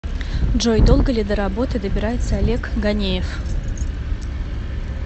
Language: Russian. джой долго ли до работы добирается олег ганеев